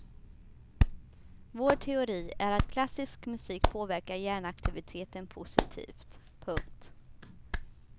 Vår teori är att klassisk musik påverkar hjärnaktiviteten positivt. punkt